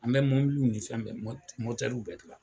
An bɛ mobiliw ni fɛn mɔtɛriw bɛ dilan.